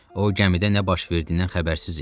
O gəmidə nə baş verdiyindən xəbərsiz idi.